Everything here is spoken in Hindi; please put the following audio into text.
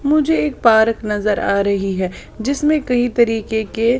मुझे एक पार्क नजर आ रही है जिसमें कई तरीके के --